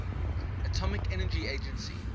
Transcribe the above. atomic energy agency